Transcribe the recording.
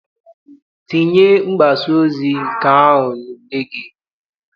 Tinye mgbasaozi nke ọha n'ule gị!